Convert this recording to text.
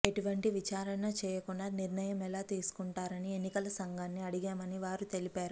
ఎటువంటి విచారణ చేయకుండా నిర్ణయం ఎలా తీసుకుంటారని ఎన్నికల సంఘాన్ని అడిగామని వారు తెలిపారు